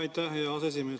Aitäh, hea aseesimees!